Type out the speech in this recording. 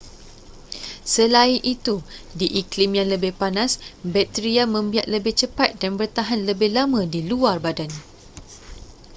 selain itu di iklim yang lebih panas bakteria membiak lebih cepat dan bertahan lebih lama di luar badan